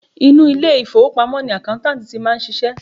Inú ilé ìfowópamọ́ ni accountant ti máa ń ṣiṣẹ́.